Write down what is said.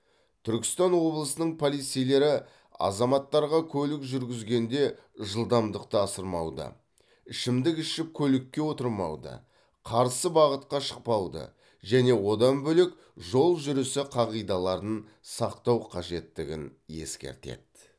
түркістан облысының полицейлері азаматтарға көлік жүргізгенде жылдамдықты асырмауды ішімдік ішіп көлікке отырмауды қарсы бағытқа шықпауды және одан бөлек жол жүрісі қағидаларын сақтау қажеттігін ескертеді